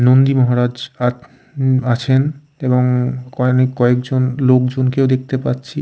নন্দী মহারাজ আ আছেন এবং কয়েক জন লোকজন কেও দেখতে পাচ্ছি--